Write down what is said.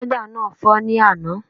Pẹ́dà náà fọ́ ní àná